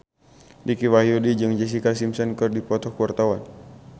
Dicky Wahyudi jeung Jessica Simpson keur dipoto ku wartawan